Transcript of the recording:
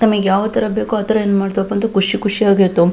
ತಮಿಗೆ ಯಾವ ತರ ಬೇಕೋ ಅತರ ಏನ್ ಮಾಡ್ತವಪ್ಪ ಅಂದ್ರೆ ಖುಷಿ ಖುಷಿಯಾಗಿ ಇರ್ತವು.